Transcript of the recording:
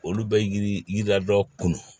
Olu bɛ yiri yirila dɔ kun